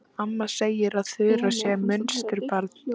Amma segir að Þura sé munsturbarn.